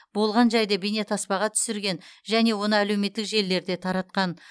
болған жайды бейнетаспаға түсірген және оны әлеуметтік желілерде таратқан